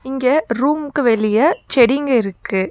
இங்க ரூமுக்கு வெளிய செடிங்க இருக்கு.